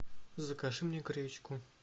закажи мне гречку